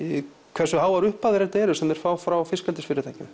hversu háar upphæðir þetta eru sem þau fá frá fiskeldisfyrirtækjum